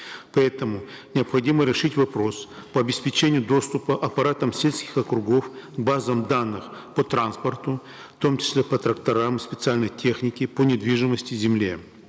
поэтому необходимо решить вопрос по обеспечению доступа аппаратам сельских округов к базам данных по транспорту в том числе по тракторам специальной технике по недвижимости земле